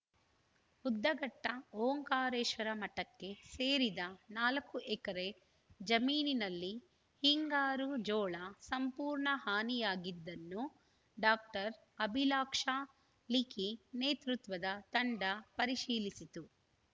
ಉದ್ಧಘಟ್ಟಓಂಕಾರೇಶ್ವರ ಮಠಕ್ಕೆ ಸೇರಿದ ನಾಲ್ಕು ಎಕರೆ ಜಮೀನಿನಲ್ಲಿ ಹಿಂಗಾರು ಜೋಳ ಸಂಪೂರ್ಣ ಹಾನಿಯಾಗಿದ್ದನ್ನು ಡಾಕ್ಟರ್ ಅಭಿಲಾಕ್ಷಾ ಲಿಖಿ ನೇತೃತ್ವದ ತಂಡ ಪರಿಶೀಲಿಸಿತು